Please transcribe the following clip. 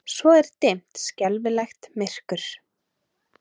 Svo er dimmt, skelfilegt myrkur.